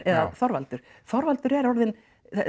eða Þorvaldur Þorvaldur er orðinn